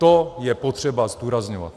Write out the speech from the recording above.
To je potřeba zdůrazňovat.